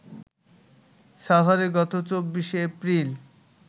সাভারে গত ২৪শে এপ্রিল